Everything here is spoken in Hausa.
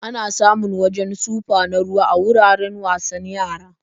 Ana samun wajen sufa na ruwa a wuraren wasan yara.